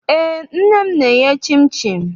Eé, nne m na-eye chịnchịn.